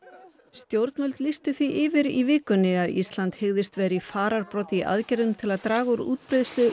stjórnvöld lýstu því yfir í vikunnni að Ísland hygðist vera í farabroddi í aðgerðum til að draga úr útbreiðslu